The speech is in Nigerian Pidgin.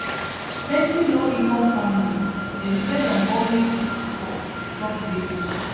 plenty lowincome families dey depend on government food support to chop daily